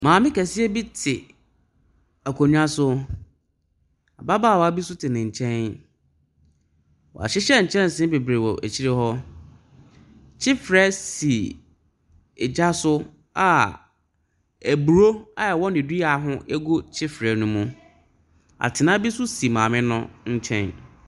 Maame kɛseɛ bi te akonnwa so. Ababaawa bi nso te ne nkyɛn. Wɔhyehyɛ nkyɛnsee bebree wɔ akyire hɔ. Kyefrɛ si egya so a aburɔ a ɛwɔ ne dua ho gu kyefrɛ no mu. Atena bi nso si maame no nkyɛn.